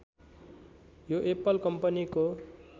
यो एप्पल कम्पनीको